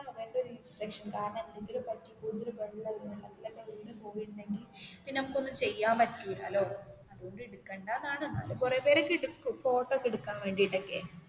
കുറേ ഇൻസ്‌ട്രുക്ഷൻസ് കാരണം എന്തെങ്കിലും പറ്റിയാൽ കൂടുതലും വെള്ളം ആണ് വെള്ളത്തിൽ വീണു പോയിരുനെകിൽ പിന്നേ നമുക്ക് ഒന്നും ചെയ്യാൻ പറ്റൂലാലോ അതുകൊണ്ടു എടുക്കണ്ടാന് ആണ് എന്നാലും കുറേ പേരു ഒക്കേ എടുക്കും ഫോട്ടോ ഒക്കേ എടുക്കാൻ വേണ്ടിട്ട് ഒക്കേ